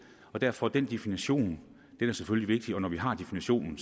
og derfor er den definition selvfølgelig vigtig og når vi har en definition